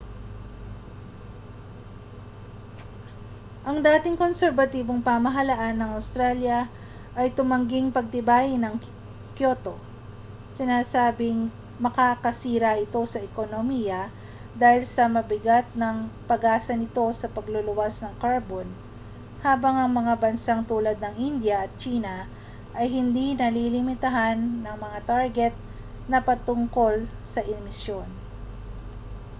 ang dating konserbatibong pamahalaan ng australya ay tumangging pagtibayin ang kyoto sinasabing makakasira ito sa ekonomiya dahil sa mabigat na pag-asa nito sa pagluluwas ng karbon habang ang mga bansang tulad ng india at tsina ay hindi nalilimitahan ng mga target na patungkol sa emisyon